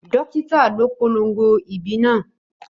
Ó ìåíÿ åñòü ó ìåíÿ ê âîïðîñó doctor.